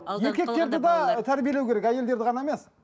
еркектерді де тәрбиелеу керек әйелдерді ғана емес